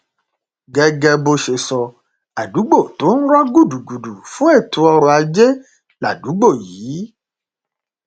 gẹgẹ bó ṣe sọ àdúgbò tó ń rọ gúdugùdu fún ètò ọrọ ajé ládùúgbò yìí